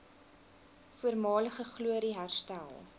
voormalige glorie herstel